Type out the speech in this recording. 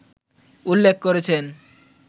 উল্লেখ করেছেন